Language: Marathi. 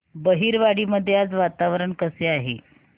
बहिरवाडी मध्ये आज वातावरण कसे आहे